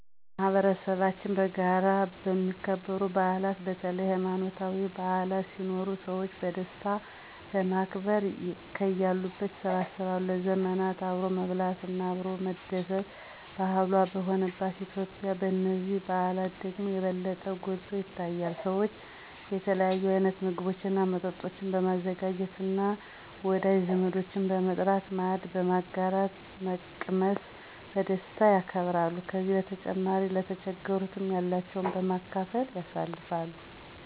በማህበረሰባችን በጋራ የሚከበሩ በዓላት በተለይ ሀይማኖታዊ በዓላት ሲኖሩ ሰዎች በደስታ ለማክበር ከያሉበት ይሰበሰባሉ። ለዘመናት አብሮ መብላት እና አብሮ መደስት ባህሏ በሆነባት ኢትዮጲያ በነዚህ በዓላት ደግሞ የበለጠ ጐልቶ ይታያል። ሰዎች የተለያዩ አይነት ምግቦች እና መጠጦችን በማዘጋጃት እና ወዳጅ ዘመዶችን በመጥራት ማዕድን በጋራ በመቅመስ በደስታ ያከብራሉ። ከዚህ በተጨማሪ ለተቸገሩትንም ያላቸውን በማካፈል ያሳልፍሉ።